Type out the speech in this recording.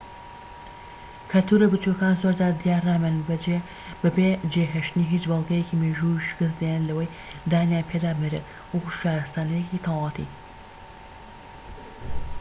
کەلتورە بچوکەکان زۆرجار دیارنامێنن بەبێ جێهێشتنی هیچ بەڵگەیەکی مێژوویی و شکست دێنن لەوەی دانیان پێدا بنرێت وەکو شارستانیەتێکی تەواوەتی